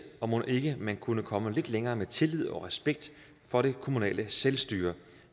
og mon ikke man kunne komme lidt længere med tillid til og respekt for det kommunale selvstyre og